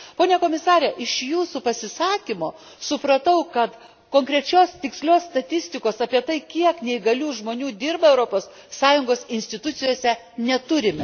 Pone Komisare, iš Jūsų pasisakymo, supratau, kad konkrečios tikslios statistikos, apie tai kiek neįgalių žmonių yra įdarbinta Europos Sąjungos institucijose neturime.